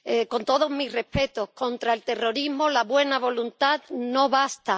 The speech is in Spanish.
Con todos mis respetos contra el terrorismo, la buena voluntad no basta.